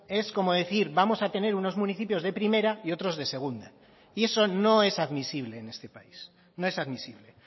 es como decir vamos a tener unos municipios de primera y otros de segunda y eso no es admisible en este país no es admisible